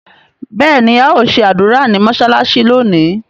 béèni ao ṣe ádùrá ní mọsalasi lónì.